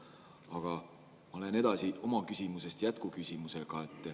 Aga ma lähen edasi oma küsimuse jätkuküsimusega.